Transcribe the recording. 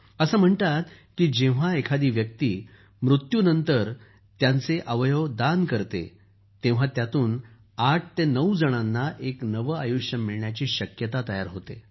असं म्हणतात की जेव्हा एखादी व्यक्ती मृत्युनंतर त्याचं शरीर दान करते तेव्हा त्यातून ८ ते ९ जणांना एक नवं आयुष्य मिळायची शक्यता तयार होते